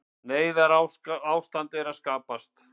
Neyðarástand að skapast